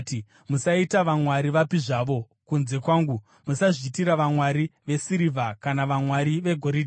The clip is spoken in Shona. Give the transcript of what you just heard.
Musaita vamwari vapi zvavo kunze kwangu; musazviitira vamwari vesirivha kana vamwari vegoridhe.